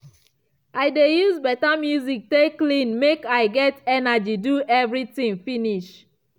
i de use better music take clean mek i get energy do everything finish.